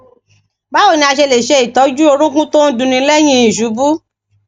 báwo ni a ṣe lè se itoju orúnkún to n dunni lẹyìn iṣubú